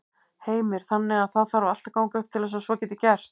Heimir: Þannig að það þarf allt að ganga upp til þess að svo geti gerst?